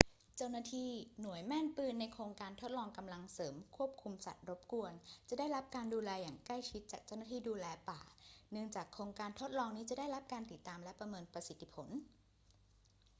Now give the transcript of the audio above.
เจ้าหน้าที่หน่วยแม่นปืนในโครงการทดลองกำลังเสริมควบคุมสัตว์รบกวนจะได้รับการดูแลอย่างใกล้ชิดจาก เจ้าหน้าที่ดูแลป่า เนื่องจากโครงการทดลองนี้จะได้รับการติดตามและประเมินประสิทธิผล